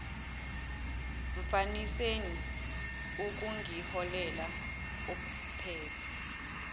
mfaniseni ukungiholela ophathe